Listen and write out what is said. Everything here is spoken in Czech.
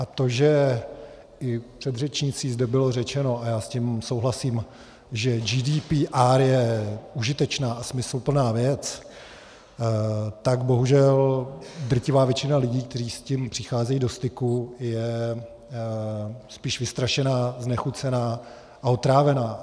A to, že i předřečníky zde bylo řečeno, a já s tím souhlasím, že GDPR je užitečná a smysluplná věc, tak bohužel drtivá většina lidí, kteří s tím přicházejí do styku, je spíš vystrašená, znechucená a otrávená.